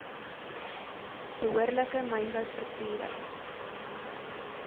behoorlike mynbou strukture